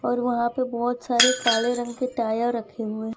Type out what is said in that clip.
और वहां पे बहोत सारे काले रंग के टायर रखे हुए--